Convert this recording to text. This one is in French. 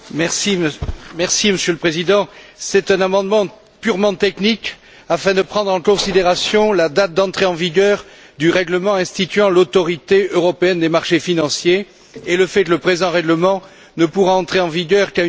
Monsieur le Président, c'est un amendement purement technique, afin de prendre en considération la date d'entrée en vigueur du règlement instituant l'autorité européenne des marchés financiers et le fait que le présent règlement ne pourra entrer en vigueur qu'à une date postérieure.